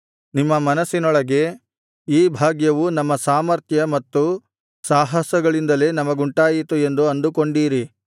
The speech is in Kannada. ನಿಮ್ಮ ಮನಸ್ಸಿನೊಳಗೆ ಈ ಭಾಗ್ಯವು ನಮ್ಮ ಸಾಮರ್ಥ್ಯ ಮತ್ತು ಸಾಹಸಗಳಿಂದಲೇ ನಮಗುಂಟಾಯಿತು ಎಂದು ಅಂದುಕೊಂಡೀರಿ